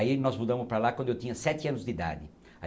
Aí nós mudamos para lá quando eu tinha sete anos de idade.